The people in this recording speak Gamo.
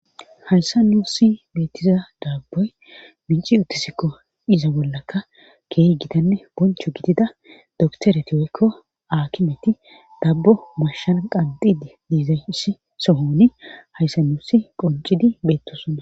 Hayssa nuusi beettiza daabboy minci uttisikko iza bollaka keeh gidanne boncho gidida doktoreti oykko aakimeti dabbo mashan qanxidi diizayss sohoni hayssa nuussi qoncidi beettosonna.